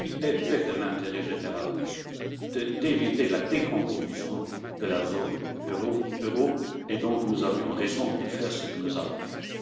Il était de l'intérêt général d'éviter la décomposition de la zone euro et donc nous avions raison de faire ce que nous avons